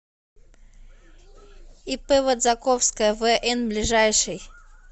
ип водзаковская вн ближайший